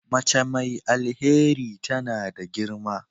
Mace mai alheri tana da girma.